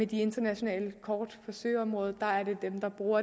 de internationale kort for søområdet er dem der bruger